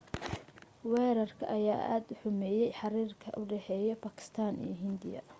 wareerka ayaa aad u xumeye xiriirka u dhaxeya bakistan iyo hindiya